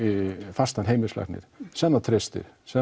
fastan heimilislækni sem það treystir sem